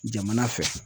Jamana fɛ